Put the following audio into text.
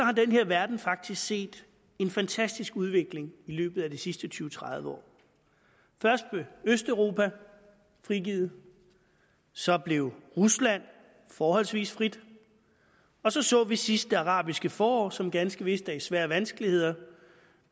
har denne verden faktisk set en fantastisk udvikling i løbet af de sidste tyve til tredive år først blev østeuropa frigivet så blev rusland forholdsvis frit og så så vi sidst det arabiske forår som ganske vist er i svære vanskeligheder